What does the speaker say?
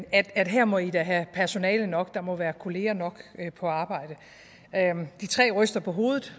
at at her må i da have personale nok der må være kolleger nok på arbejde de tre ryster på hovedet